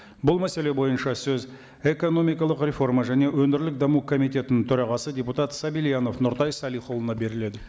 бұл мәселе бойынша сөз экономикалық реформа және өңірлік даму комитетінің төрағасы депутат сабильянов нұртай салихұлына беріледі